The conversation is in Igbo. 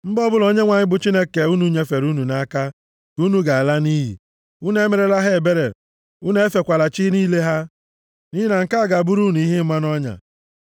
Mba ọbụla Onyenwe anyị bụ Chineke unu nyefere unu nʼaka ka unu ga-ala nʼiyi. Unu emerela ha ebere, unu efekwala chi niile ha, nʼihi na nke a ga-abụrụ unu ihe ịma nʼọnya.